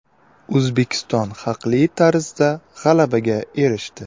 O‘zbekiston haqli tarzda g‘alabaga erishdi.